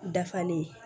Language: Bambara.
Dafalen